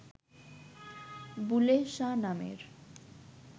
বুলেহ শাহ নামের